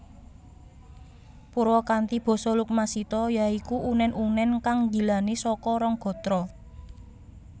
Purwakanthi basa lumaksita ya iku unèn unèn kang nggilani saka rong gatra